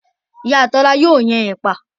Iya Tola ao din epa